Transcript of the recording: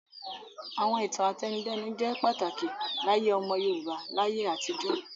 Àwọn ìtàn àtẹnudẹ́nu jẹ́ pàtàkì láyé ọmọ Yorùbá láyé àtijó.